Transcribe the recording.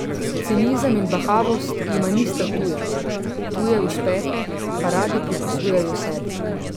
Cinizem in bahavost jima nista tuja, tuje uspehe pa radi pripisujejo sebi.